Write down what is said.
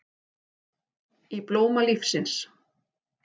Í blóma lífsins